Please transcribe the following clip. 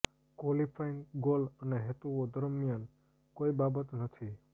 qualifying goal અને હેતુઓ દરમિયાન કોઈ બાબત નથી